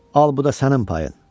Al bu da sənin payın.